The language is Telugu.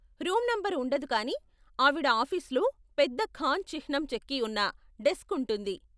రూమ్ నంబరు ఉండదు కానీ ఆవిడ ఆఫీసులో పెద్ద ఖాన్ చిహ్నం చెక్కి ఉన్న డెస్క్ ఉంటుంది.